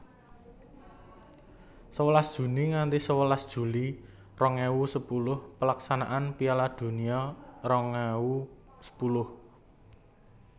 Sewelas Juni nganthi sewelas Juli rong ewu sepuluh Pelaksanaan Piala Donya rong ewu sepuluh